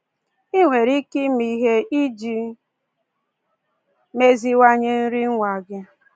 Ị nwere ike ime ihe iji meziwanye nri nwa gị.